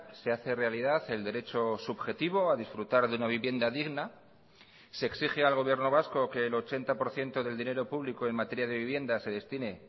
se hace realidad el derecho subjetivo a disfrutar de una vivienda digna se exige al gobierno vasco que el ochenta por ciento del dinero público en materia de vivienda se destine